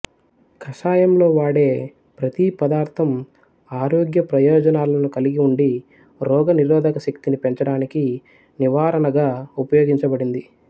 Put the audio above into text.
కషాయం లో వాడే ప్రతి పదార్ధం ఆరోగ్య ప్రయోజనాలను కలిగి ఉండి రోగనిరోధక శక్తిని పెంచడానికి నివారణగా ఉపయోగించబడింది